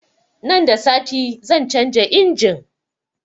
Nan da sati zan canza injin